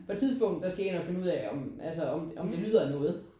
På et tidspunkt der skal jeg ind og finde ud af om altså om om det lyder af noget